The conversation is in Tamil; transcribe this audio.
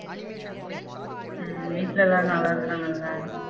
ஹம் வீட்ல எல்லாரும் நல்லா இருக்காங்களா